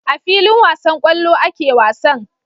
A filin wasan kwallo ake wasan